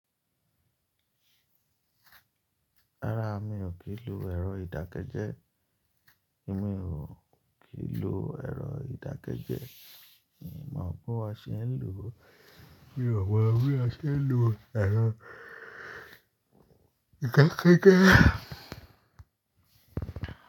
Rárá, mi ò kí lo ẹ̀rọ ìdákẹ́jẹ́. Èmi ò kí lo ẹ̀rọ ìdákẹ́jẹ́. Èmi máa gbọ́ ase ni lò. Mi ò mọ bí ase ń lo ẹ̀rọ ìdákẹ́jẹ́